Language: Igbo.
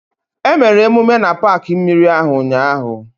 Emere emume na paakị mmiri ahụ ụnyaahụ